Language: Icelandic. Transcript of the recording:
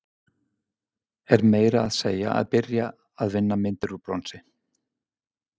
Er meira að segja að byrja að vinna myndir úr bronsi.